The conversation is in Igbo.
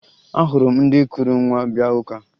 Ahụrụ m ndị kuru nwa bịa ụka